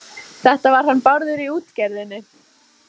Þetta var hann Bárður í útgerðinni.